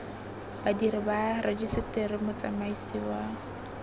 badiri ba rejiseteri motsamaisi wa